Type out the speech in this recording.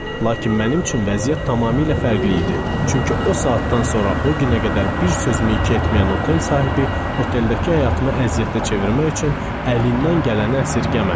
Lakin mənim üçün vəziyyət tamamilə fərqli idi, çünki o saatdan sonra o günə qədər bir sözümü iki etməyən otel sahibi oteldəki həyatımı əziyyətə çevirmək üçün əlindən gələni əsirgəmədi.